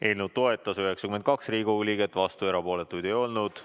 Eelnõu toetas 92 Riigikogu liiget, vastuolijaid ja erapooletuid ei olnud.